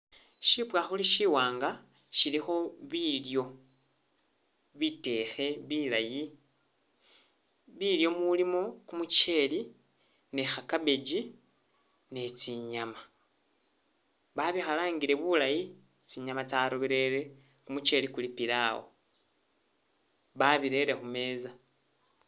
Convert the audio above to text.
Shipwakhuli shiwanga shilikho bilyo, bitekhe bilaayi, bilyo mulimo kumucheli ni'kha cabbage, ni'chinyama babikhalangile bulayi tsinyama tsaroberele, kumucheli kuli pilao babirele khumeza